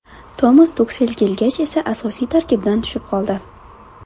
Tomas Tuxel kelgach esa asosiy tarkibdan tushib qoldi.